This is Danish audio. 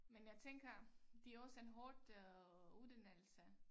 Men jeg tænker det også en hårdt øh uddannelse